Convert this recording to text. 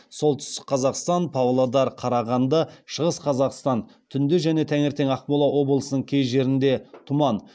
солтүстік қазақстан павлодар қарағанды шығыс қазақстан түнде және таңертең ақмола облысының кей жерлерінде тұман